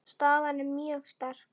Staðan er mjög sterk.